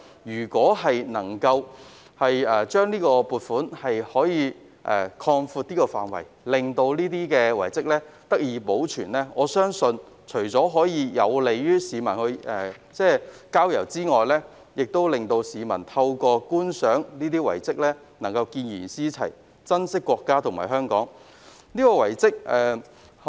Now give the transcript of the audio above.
若可擴闊有關撥款的範圍，令這些遺蹟得以保存，我相信除可便利市民郊遊外，市民在觀賞這些遺蹟後亦會見賢思齊，珍惜國家和香港。